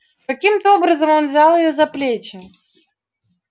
каким-то образом он взял её за плечи